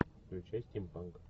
включай стим панк